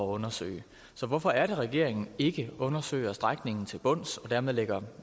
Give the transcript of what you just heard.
undersøge så hvorfor er det at regeringen ikke undersøger strækningen til bunds og dermed lægger